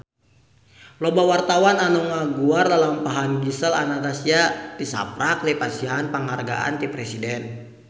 Loba wartawan anu ngaguar lalampahan Gisel Anastasia tisaprak dipasihan panghargaan ti Presiden